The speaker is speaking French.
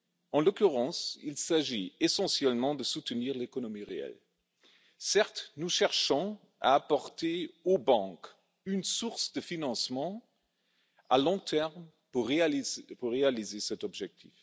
En l'occurrence, il s'agit essentiellement de soutenir l'économie réelle. Certes, nous cherchons à apporter aux banques une source de financement à long terme pour réaliser cet objectif.